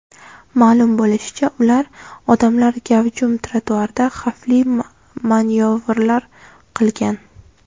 Ma’lum bo‘lishicha, ular odamlar gavjum trotuarda xavfli manyovrlar qilgan.